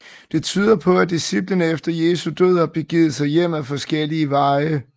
Det tyder på at disciplene efter Jesu død har begivet sig hjem ad forskellige veje